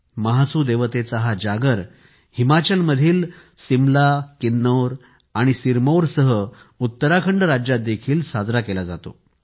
महासूदेवतेचा हा जागर हिमाचल मधील सिमला किन्नौर आणि सिरमौरसह उत्तराखंड राज्यात देखील साजरा केला जातो